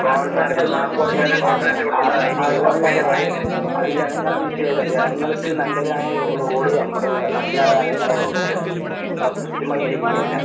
കോൺട്രാക്ടമാര് മുക്കിയതും അത് ജനങ്ങളെ വിഷയാല്ല. ജനങ്ങൾക്ക് നല്ലതായ റോഡ് അം എഹ് നൽകണതാണ് ഇങ്ങളെ ദൗത്യം. ഇങ്ങളത് കൃത്യമായി ചെയ്യുന്നില്ല.